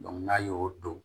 n'a y'o don